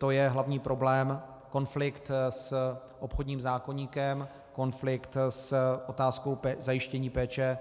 To je hlavní problém - konflikt s obchodním zákoníkem, konflikt s otázkou zajištění péče